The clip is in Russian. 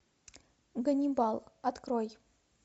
ганнибал открой